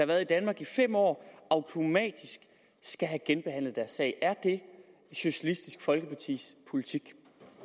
været i danmark i fem år automatisk skal have genbehandlet deres sag er det socialistisk folkepartis politik